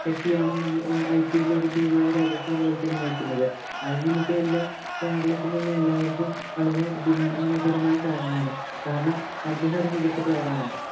വ്യക്തിയാണ് IPL ഇലെ ഒരു team ആയ Rajasthan Royals ഇനെ നയിക്കുന്നത്. അത് നമുക്കെല്ലാം കേരളത്തിലുള്ള എല്ലാവര്‍ക്കും വളരെ അഭിമാനകരമായ ഒരു കാര്യമാണ്. കാരണം അദ്ദേഹം ഒരു മികച്ച player ആണ്.